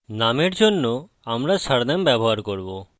নামের জন্য আমরা surname ব্যবহার করব